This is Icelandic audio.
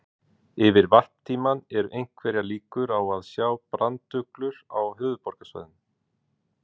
Yfir varptímann eru einhverjar líkur á að sjá branduglur á höfuðborgarsvæðinu.